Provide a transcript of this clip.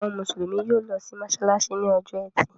Àwọn Mùsùlùmí yóò lọ sí mọ́ṣáláṣí ní ọjọ́ ẹtì.